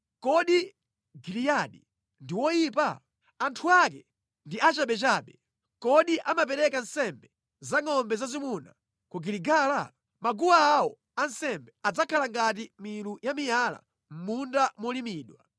Kodi Giliyadi ndi woyipa? Anthu ake ndi achabechabe! Kodi amapereka nsembe za ngʼombe zazimuna ku Giligala? Maguwa awo ansembe adzakhala ngati milu ya miyala mʼmunda molimidwa.